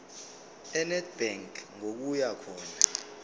enedbank ngokuya khona